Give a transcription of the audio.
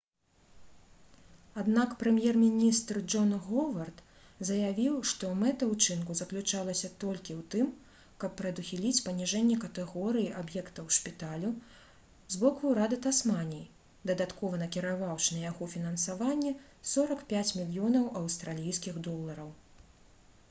аднак прэм'ер-міністр джон говард заявіў што мэта ўчынку заключалася толькі ў тым каб прадухіліць паніжэнне катэгорыі аб'ектаў шпіталю з боку ўрада тасманіі дадаткова накіраваўшы на яго фінансаванне 45 мільёнаў аўстралійскіх долараў